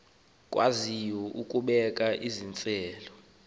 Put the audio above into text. akwaziyo ukubeka iziseko